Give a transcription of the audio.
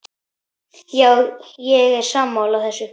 Já, ég er sammála þessu.